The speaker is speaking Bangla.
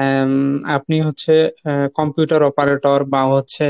উম আপনি হচ্ছে এ Computer operator বা হচ্ছে